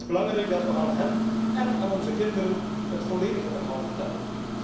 Het is belangrijk dat we aan hen én aan onze kinderen het volledige verhaal vertellen.